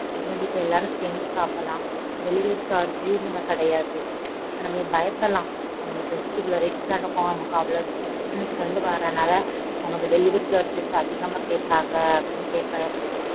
நம்ம வீட்ல எல்லாரும் சேர்ந்து சாப்டலாம் delivery charge நமக்கு கிடையாது. நம்ம நீ பயப்படலாம் நமக்கு dress இவ்ளோ rate க்கு தான் அனுப்புவான் நமக்கு அவ்வளவு distance ல இருந்து வார்றனால நமக்கு delivery charges அதிகம் கேட்பாங்க அப்படின்னு கேட்பன்னு.